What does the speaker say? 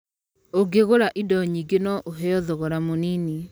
Ũngĩgũra indo nyingĩ no ũheo thogora mũnini.